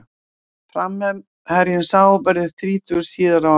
Framherjinn sá verður þrítugur síðar á árinu.